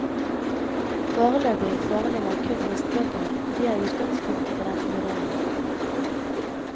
Foreløpig foreligger kun høstbøkene, og de er utgangspunktet for denne vurderingen.